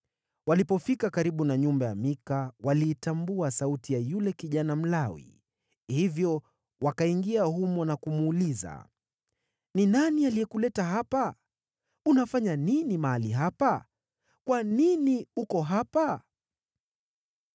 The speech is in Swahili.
Walipofika karibu na nyumba ya Mika, waliitambua sauti ya yule kijana Mlawi; hivyo wakaingia humo na kumuuliza, “Ni nani aliyekuleta hapa? Unafanya nini mahali hapa? Kwa nini uko hapa?”